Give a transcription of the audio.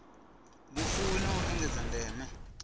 vhufuwi na u engedza ndeme